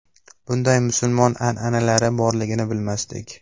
Bunday musulmon an’analari borligini bilmasdik.